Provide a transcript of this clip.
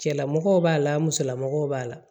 Cɛlamɔgɔw b'a la musolamɔgɔw b'a la